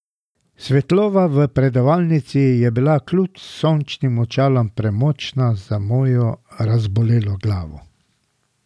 Svetloba v predavalnici je bila kljub sončnim očalom premočna za mojo razbolelo glavo.